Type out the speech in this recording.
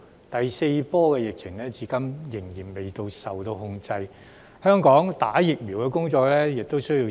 第四波疫情至今仍未受控，香港疫苗接種工作亦需時。